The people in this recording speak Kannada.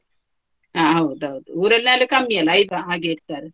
ಹ ಹೌದೌದು, ಊರಲ್ಲಿ ಆದ್ರೆ ಕಮ್ಮಿ ಅಲ್ಲ ಐದು ಹಾಗೆ ಇಡ್ತಾರೆ.